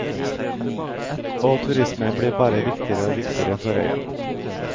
Og turisme blir bare viktigere og viktigere for øya.